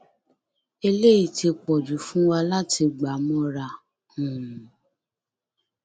eléyìí ti pọ jù fún wa láti gbà mọra um